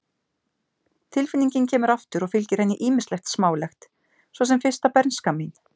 Tilfinningin kemur aftur og fylgir henni ýmislegt smálegt, svo sem fyrsta bernska mín.